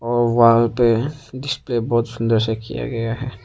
और वॉल पे जिसपे बहोत सुंदर सा किया गया है।